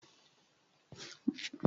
Mo gé ẹ̀fọ́ náà lórí ọpọ́n.